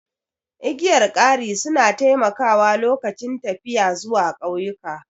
Igiyar kari su na taimakawa lokacin tafiya zuwa ƙauyuka